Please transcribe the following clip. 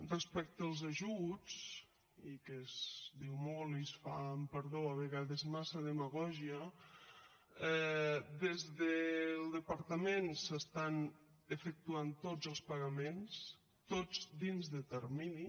respecte als ajuts que es diu molt i se’n fa amb perdó a vegades massa demagògia des del departament s’efectuen tots els pagaments tots dins de termini